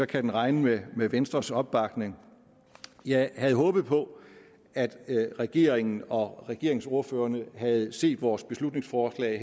kan den regne med venstres opbakning jeg havde håbet på at regeringen og regeringsordførerne havde set vores beslutningsforslag